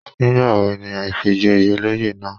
Nígbàwo ni ìfìjoyè olóyè náà?